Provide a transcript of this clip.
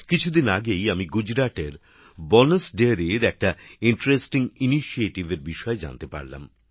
কিছুদিন আগেই আমি গুজরাটের বনাস ডেয়ারীর একটি আকর্ষণীয় উদ্যোগের সম্পর্কে জানতে পারলাম